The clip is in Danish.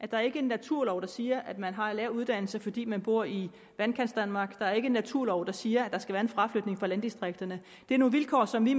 der er ikke en naturlov der siger at man har en lav uddannelse fordi man bor i vandkantsdanmark der er ikke en naturlov der siger at der skal være en fraflytning fra landdistrikterne det er nogle vilkår som vi